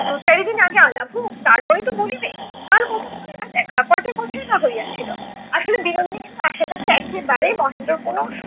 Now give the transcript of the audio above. দু চারিদিন আগে আলাপ হোক তারপরে তো বলিবে কাল কতক্ষণই বা দেখা ক'টা কথাই বা হইয়াছিল। আসলে বিনোদিনী কিন্তু আশার কাছে একেবারে মহেন্দ্রর কোনো সু~